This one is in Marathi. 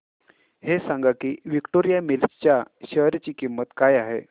हे सांगा की विक्टोरिया मिल्स च्या शेअर ची किंमत काय आहे